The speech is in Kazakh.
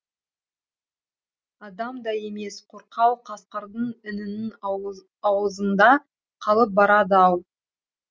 адам да емес қорқау қасқырдың інінің аузында қалып барады ау